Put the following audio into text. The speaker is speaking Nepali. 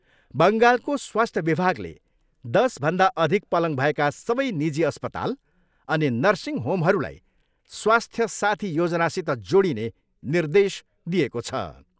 बङ्गालको स्वास्थ्य विभागले दसभन्दा अधिक पलङ भएका सबै निजी अस्पताल अनि नर्सिङ होमहरूलाई स्वास्थ्य साथी योजनासित जोडिने निर्देश दिएको छ।